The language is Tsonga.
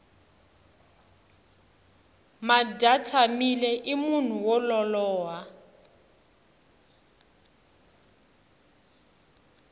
madyatshamile i munhu wo lolowa